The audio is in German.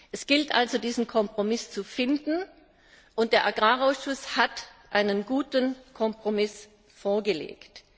Es gilt also, diesen Kompromiss zu finden, und der Landwirtschaftsausschuss hat einen guten Kompromiss vorgelegt.